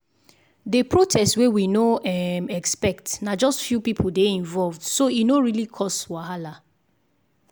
the protest wey we no um expect na just few people dey involved so e no really cause wahala.